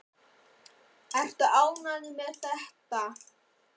Þorbjörn: Ertu ánægð með þetta?